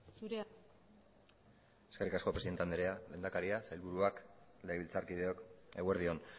zure da hitza eskerrik asko presidente andrea lehendakaria sailburuak legebiltzarkideok eguerdi on